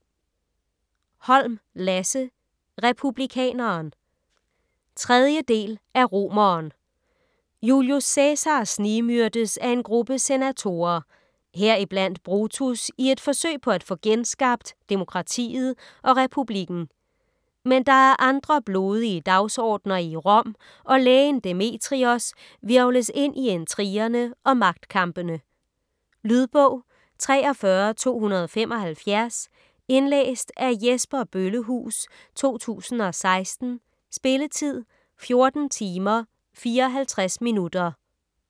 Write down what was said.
Holm, Lasse: Republikaneren 3. del af Romeren. Julius Cæsar snigmyrdes af en gruppe senatorer - heriblandt Brutus - i et forsøg på at få genskabt genskabt demokratiet og republikken. Men der er andre blodige dagsordner i Rom, og lægen Demetrios hvirvles ind i intrigerne og magtkampene. Lydbog 43275 Indlæst af Jesper Bøllehuus, 2016. Spilletid: 14 timer, 54 minutter.